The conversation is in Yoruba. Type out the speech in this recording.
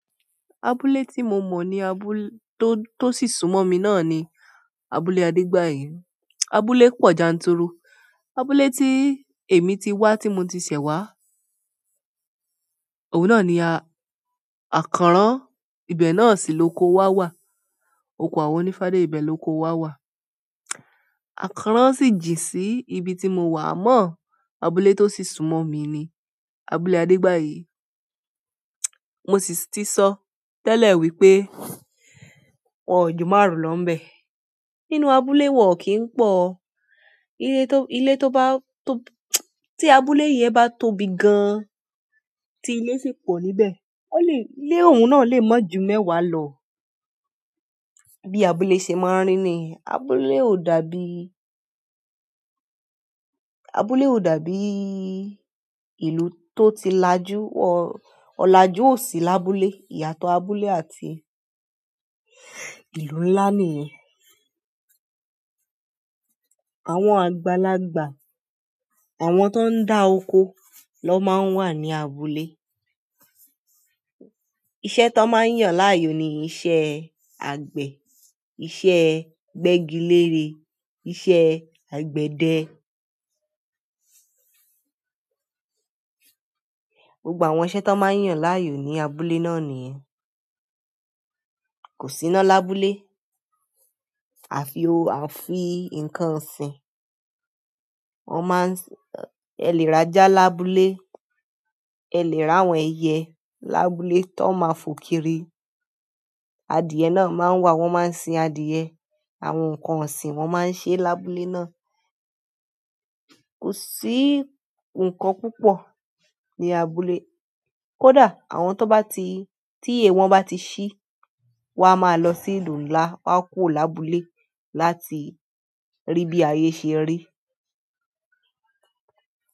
Abúlé tí mo mọ̀ ni abúlé tó, tó sì sún mọ́ mi náà ni, abúlé Adégbàyí. Abúlé pọ̀ janturu. Abúlé tí èmi ti wá, tí mo ti ṣẹ̀ wá. Òun náà ni àkọ́ràn. Ibẹ̀ náà sì lóko wá wà. Oko àwọn onífádé ibẹ̀ lóko wá wà. Àkọ́ràn sì jìn sí ibi tí mo wà. Àmọ́ abúlé tó sì sún mọ́ mi ni, abúlé Adégbàyí. Mo sì ti sọ tẹ́lẹ̀ wípé wọn ò jù márùn lọ níbẹ̀. Nínú abúlé wọn kì ń pọ̀. Ilé tó bá, tó tí abúlé yen bá tóbi gan, tí ilé sì pọ̀ níbẹ̀, ó lè, ilé un náà lè ma jù mẹ́wàá lọ. Bí abúlé ṣe máa ń rí ni. Abúlé ò dàbí, abúlé ò dàbí ìlú tó ti lajú. Ọ̀lajú ò sí lábúlé. Iyàtọ̀ abúlé àti ìlú ńlá nìyẹn. Àwọn àgbàlagbà, àwọn tó ń dá oko lọ máa ń wà ní abúlé. Iṣẹ́ tó máa ń yàn láàyò ni iṣẹ́ àgbẹ̀, iṣẹ́ gbẹ́gilére, iṣẹ́ àgbẹ̀dẹ. Gbogbo àwọn iṣẹ́ tó máa ń yàn láàyò ní abúlé náà nìyẹn. Kò sí iná lábúlé àfi o àfi nǹkan ọ̀sìn. Wọ́n máa ń ẹ lè ra ajá lábúlé, ẹ lè ri àwọn ẹyẹ lábúlé tó máa fo kiri. Adìẹ náà máa ń wà, wọ́n máa ń sin adìẹ. Àwọn nǹkan ọ̀sìn wọ́n máa ń ṣe lábúlé náà. Kò sí nǹkan púpọ̀ ní abúlé. Kódà àwọn tó bá ti, tí iyẹ wọn bá ti ṣí, wọn a máa lọ sí ìlú ńlá, wọ́n á kúrò lábúlé láti rí bí ayé ṣe ń rí.